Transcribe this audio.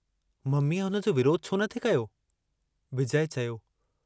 मम्मीअ हुन जो विरोध छोन थे कयो।